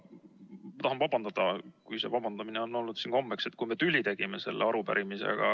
Ma tahan ka vabandada – see vabandamine on siin kombeks saanud –, kui me tüli tegime selle arupärimisega.